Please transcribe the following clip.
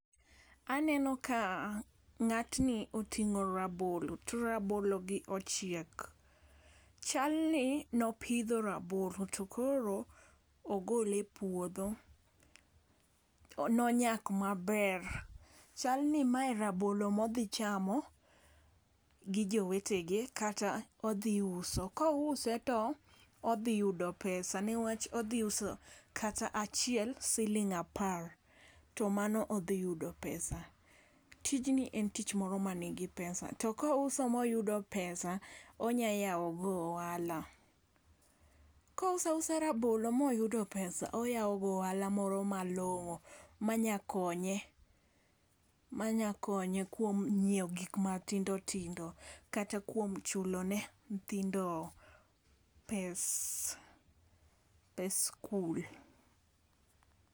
Aneno ka ng'atni oting'o rabolo to rabolo gi ochiek. Chalni nopidho rabolo to koro ogole puodho. Nonyak maber chalni mae rabolo modhi chamo gi jowetegi kata odhi uso kouse to odhi yudo pesa neach odhi uso kata achiel siling apar to mano odhi yudo pesa . Tijni en tich moro manigi pesa to kouso moyudo pesa onya yawo go ohala. Kouso uso rabolo oyawo go ohala moro malong'o manya konye manya konye kuom nyiewo gik matindo tindo kata, kuom chulone nyithindo pes pes skul.